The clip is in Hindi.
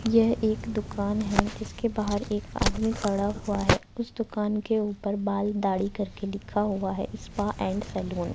यह एक दुकान है जिसके बाहर एक आदमी खड़ा हुआ है उस दुकान के ऊपर बाल दाढ़ी करके लिखा हुआ है स्पा एंड सैलून।